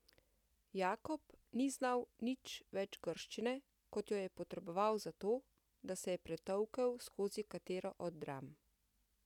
Jakob ni znal nič več grščine, kot je je potreboval za to, da se je pretolkel skozi katero od dram.